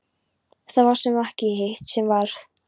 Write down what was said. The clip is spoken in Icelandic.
Það sem varð ekki og hitt sem varð